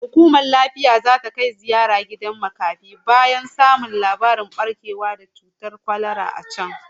Hukumar lafiya zata kai ziyara gidan kula da makafi bayan samun labarin barkewar annobar kwalara a can